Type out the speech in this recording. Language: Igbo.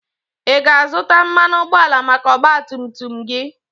Ị ga-azụta mmanụ ụgbọala maka ọgba tum tum gị?